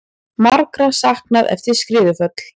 Margra saknað eftir skriðuföll